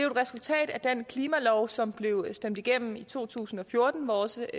et resultat af den klimalov som blev stemt igennem i to tusind og fjorten hvor også